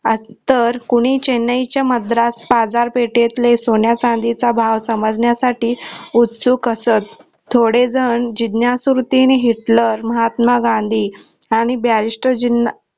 तर कोणी चेन्नईच्या मद्रास बाजार पेटेतले सोन्याचांदीचा भाव समजण्यासाठी उत्सुक असत थोडे जन जिज्ञासू वृतीने, हिटलर, महात्मा गांधी आणि barrister जींना